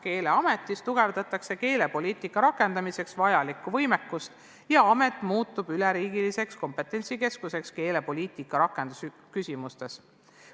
Keeleametis tugevdatakse keelepoliitika rakendamiseks vajalikku võimekust ja amet muutub üleriigiliseks kompetentsikeskuseks keelepoliitika rakendamise küsimustes.